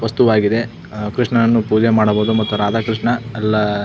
ವಸ್ತುವಾಗಿದೆ ಕೃಷ್ಣನನ್ನು ಪೂಜೆ ಮಾಡಬಹುದು ಮತ್ತು ರಾಧಾ ಕೃಷ್ಣ ಎಲ್ಲಾ.